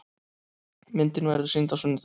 Myndin verður sýnd á sunnudaginn.